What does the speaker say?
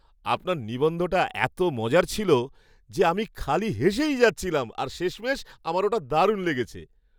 আপনার নিবন্ধটা এত মজার ছিল যে, আমি খালি হেসেই যাচ্ছিলাম আর শেষমেশ আমার ওটা দারুণ লেগেছে।